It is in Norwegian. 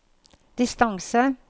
distance